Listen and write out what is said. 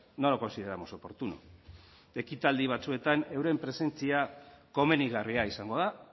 no lo consideramos oportuno ekitaldi batzuetan euren presentzia komenigarria izango da